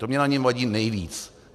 To mně na něm vadí nejvíc.